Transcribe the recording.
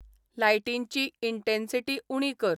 लायटींची intensity उणी कर